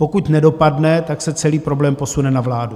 Pokud nedopadne, tak se celý problém posune na vládu.